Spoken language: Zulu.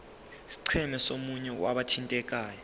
scheme somunye wabathintekayo